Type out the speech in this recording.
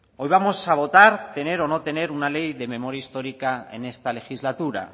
hoy vamos a votar tener o no tener una ley de memoria histórica en esta legislatura